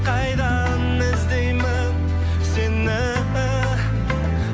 қайдан іздеймін сені